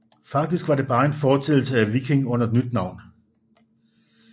Faktisk var det bare en fortsættelse af Viking under et nyt navn